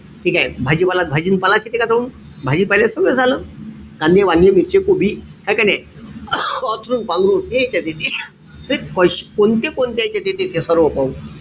ठीकेय? भाजीपाला, भाजी अन पालाच येत का तेवढं. भाजीपाल्यात सगळंच आलं. कांदे-वांदे, मिरची, कोबी. हाय का नाई? अंथरून-पांघरून हे यांच्यात येते. बे कोणत्या-कोणत्या यांच्यात येते ते सर्व पाहू.